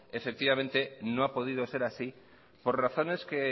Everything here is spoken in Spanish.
no ha podido ser así por razones que